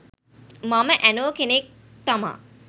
මම ඇනෝ කෙනෙක් තමා